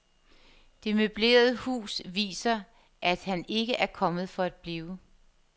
Det møblerede hus viser, at han ikke er kommet for at blive.